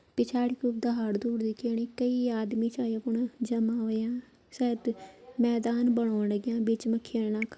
पिछाडी कु दहाड़-धूड़ दिख्येणी कई आदमी छां यपण जमा हुंया सायद मैदान बनौण लाग्यां बीच मा खेलना --